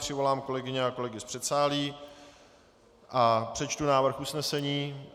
Přivolám kolegyně a kolegy z předsálí a přečtu návrh usnesení.